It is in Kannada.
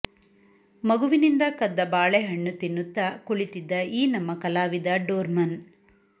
ಮಗುವಿನಿಂದ ಕದ್ದ ಬಾಳೆಹಣ್ಣು ತಿನ್ನುತ್ತ ಕುಳಿತಿದ್ದ ಈ ನಮ್ಮ ಕಲಾವಿದ ಡೋರ್ಮನ್